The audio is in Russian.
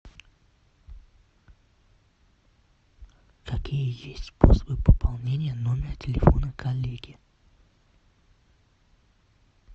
какие есть способы пополнения номера телефона коллеги